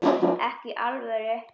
Ekki í alvöru.